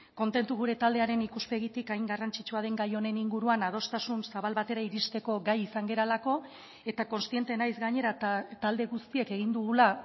kontentu gure taldearen ikuspegitik hain garrantzitsua den gai honen inguruan adostasun zabal batera iristeko gai izan garelako eta kontziente naiz gainera talde guztiek egin dugula